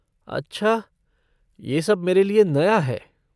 अच्छा, यह सब मेरे लिए नया है।